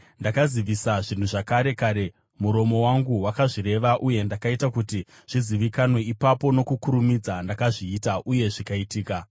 Ndakazivisa zvinhu zvakare, kare kare, muromo wangu wakazvireva uye ndakaita kuti zvizivikanwe; ipapo nokukurumidza ndakazviita, uye zvikaitika.